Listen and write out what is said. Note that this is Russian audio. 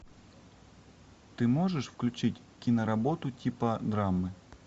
ты можешь включить киноработу типа драмы